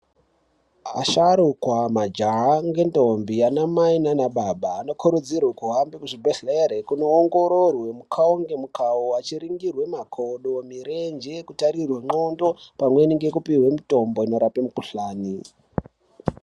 Asharuka, majaha nentombi, ana mai nana baba anokuridzirwa kuhambe muzvibhehlera kuti awongororwe mukawo ngemukawo echiringirwe makodo, mirenje, kutarirwe ndxondo pamweni ngekupihwe mitombo inorape mukhuhlane .